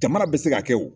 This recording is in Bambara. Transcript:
Jamana bɛ se ka kɛ o